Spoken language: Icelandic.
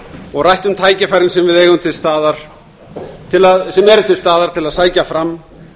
og rætt um tækifærin sem eru til staðar til að sækja fram